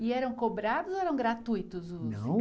E eram cobrados ou eram gratuitos os